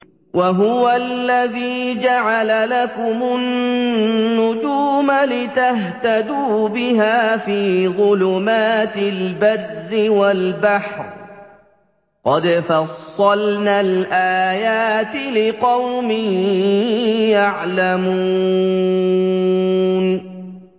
وَهُوَ الَّذِي جَعَلَ لَكُمُ النُّجُومَ لِتَهْتَدُوا بِهَا فِي ظُلُمَاتِ الْبَرِّ وَالْبَحْرِ ۗ قَدْ فَصَّلْنَا الْآيَاتِ لِقَوْمٍ يَعْلَمُونَ